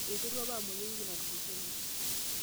eterua apa amueyu ewiki natulusoyie